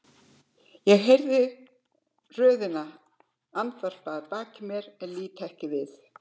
Ég heyri röðina andvarpa að baki mér en lít ekki við.